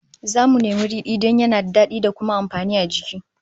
Zamu nemi ridi don yana da dadi da kuma amfani a jiki